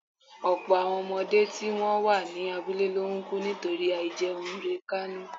ọ̀pọ̀ àwọn ọmọdé tí wọ́n wà ní abúlé ló ń kú nítorí àìjẹunrekánú